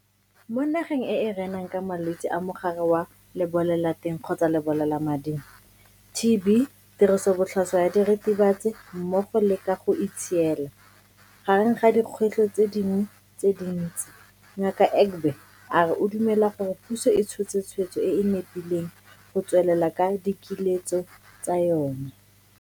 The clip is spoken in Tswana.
Mo nageng e e renang ka malwetse a Mogare wa Lebolelateng kgotsa Lebolelamading, TB, tirisobotlhaswa ya diritibatsi mmogo le ka go itshiela, gareng ga dikgwetlho tse dingwe tse dintsi, Ngaka Egbe a re o dumela gore puso e tshotse tshwetso e e nepileng go tswelela ka dikiletso tsa yona.